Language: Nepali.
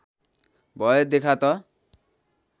भए देखा त